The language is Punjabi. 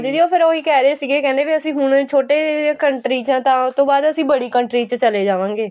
ਦੀਦੀ ਉਹ ਫ਼ੇਰ ਉਹੀ ਕਹਿ ਰਹੇ ਸੀਗੇ ਕਹਿੰਦੇ ਵੀ ਹੁਣ ਛੋਟੇ country ਚ ਆ ਤਾਂ ਉਤੋ ਬਾਅਦ ਅਸੀਂ ਬੜੀ country ਚ ਚਲੇ ਜਾਵਾਗੇ